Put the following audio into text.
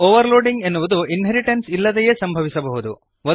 overloading ಎನ್ನುವುದು inheritance ಇಲ್ಲದೇ ಸಂಭವಿಸಬಹುದು